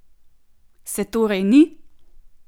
Se torej ni?